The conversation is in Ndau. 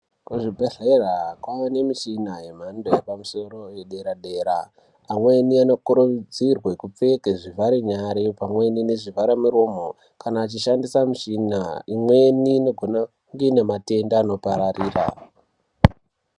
Kuzvibhodhlera, kwaane mishina yemhando yepamusoro yedera-dera. Amweni anokurudzirwe kupfeke zvivharenyare , pamweni nezvivharamiromo kana achishandisa mishina .Imweni inogona kuite matenda anopararira.